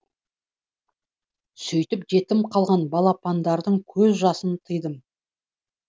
сөйтіп жетім қалған балапандардың көз жасын тыйдым